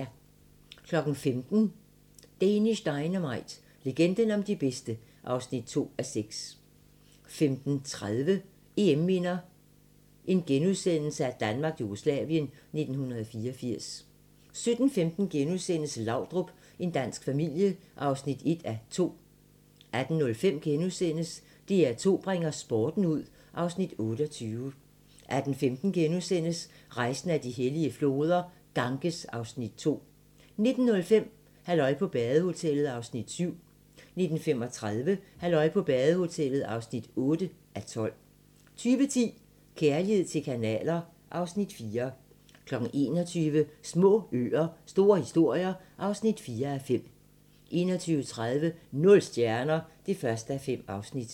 15:00: Danish Dynamite – legenden om de bedste (2:6) 15:30: EM-minder: Danmark-Jugoslavien 1984 * 17:15: Laudrup – en dansk familie (1:2)* 18:05: DR2 bringer sporten ud (Afs. 28)* 18:15: Rejsen ad de hellige floder - Ganges (Afs. 2)* 19:05: Halløj på badehotellet (7:12) 19:35: Halløj på badehotellet (8:12) 20:10: Kærlighed til kanaler (Afs. 4) 21:00: Små øer - store historier (4:5) 21:30: Nul stjerner (1:5)